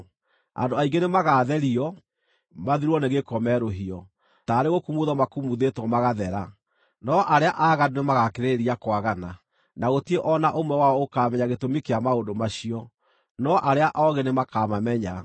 Andũ aingĩ nĩmagatherio, mathirwo nĩ gĩko merũhio, taarĩ gũkumuthwo makumuthĩtwo magathera, no arĩa aaganu nĩmagakĩrĩrĩria kwagana, na gũtirĩ o na ũmwe wao ũkaamenya gĩtũmi kĩa maũndũ macio, no arĩa oogĩ nĩmakamamenya.